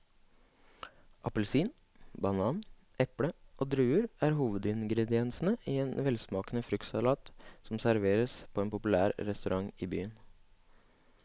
Appelsin, banan, eple og druer er hovedingredienser i en velsmakende fruktsalat som serveres på en populær restaurant i byen.